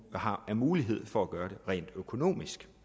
har af mulighed for at gøre det rent økonomisk